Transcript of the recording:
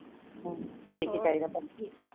ਹਾ ਕੀ ਕੀ ਚਾਹਿਦਾ ਪੰਛੀ?